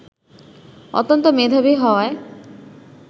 অত্যন্ত মেধাবী হওয়ায়